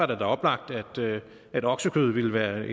da oplagt at oksekød ville være